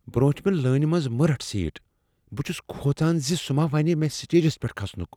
بروٹھۍ مہِ لانہِ منز مہ رٹھ سیٹ ۔ بہٕ چھس كھوژان سٗہ ما ونہِ مےٚ سٹیجس پیٹھ کھسُن۔